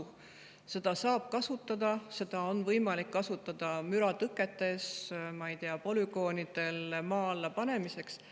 Seda saab kasutada, seda on võimalik kasutada müratõketes, ma ei tea, polügoonidel maa alla panemiseks.